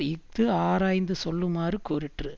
இஃது ஆராய்ந்து சொல்லுமாறு கூறிற்று